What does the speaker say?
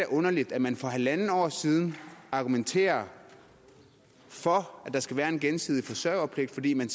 underligt at man for halvandet år siden argumenterede for at der skulle være en gensidig forsørgerpligt fordi man